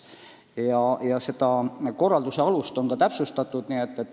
Ja selle korralduse alust on täpsustatud.